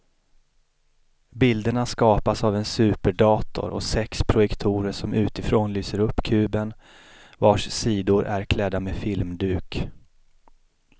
Bilderna skapas av en superdator och sex projektorer som utifrån lyser upp kuben vars sidor är klädda med filmduk.